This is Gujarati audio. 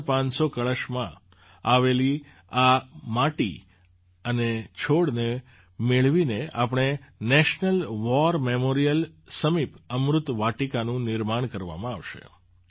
૭૫૦૦ કળશમાં આવેલી આ માટી અને છોડને મેળવીને પછી નેશનલ વૉર મેમોરિયલ સમીપ અમૃત વાટિકાનું નિર્માણ કરવામાં આવશે